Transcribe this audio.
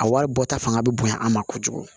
A wari bɔta fanga bɛ bonya an ma kojugu